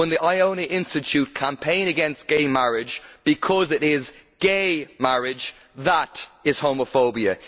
When the Iona Institute campaigns against gay marriage because it is gay' marriage, that is homophobia.